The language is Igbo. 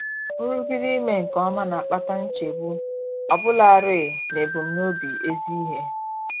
Nrụgide ime nke ọma na-akpata nchegbu, ọbụlarị n'ebumnobi ezi ihe.